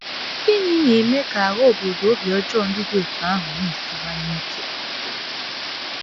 Gịnị na - eme ka agha obodo obi ọjọọ ndị dị otú ahụ na - esiwanye ike?